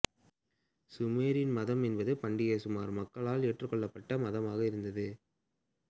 Sumerian மதம் என்பது பண்டைய சுமர் மக்களால் ஏற்றுக்கொள்ளப்பட்ட மதமாக இருந்தது